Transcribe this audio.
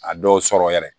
A dɔw sɔrɔ yɛrɛ